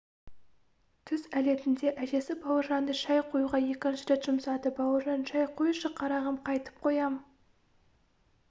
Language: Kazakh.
түс әлетінде әжесі бауыржанды шай қоюға екінші рет жұмсады бауыржан шай қойшы қарағым қайтіп қоям